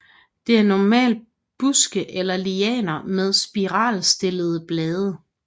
Det er normalt buske eller lianer med spiralstillede blade